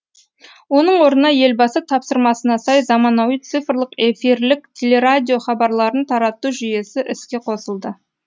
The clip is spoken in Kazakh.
оның орнына елбасы тапсырмасына сай заманауи цифрлық эфирлік телерадио хабарларын тарату жүйесі іске қосылды